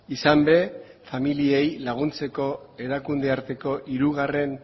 izan ere familiei laguntzeko erakunde arteko hirugarren